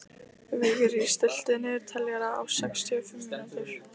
Vigri, stilltu niðurteljara á sextíu og fimm mínútur.